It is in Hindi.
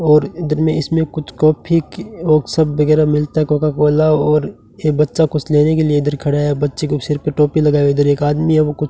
और इधर में इसमें कुछ कॉफ़ी की और सब वगैरह मिलता है कोका कोला और यह बच्चा कुछ लेने के लिए इधर खड़ा है बच्चे को सिर पर टोपी लगाए हुए इधर एक आदमी है वो कुछ --